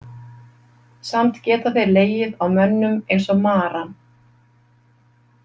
Samt geta þeir legið á mönnum eins og maran.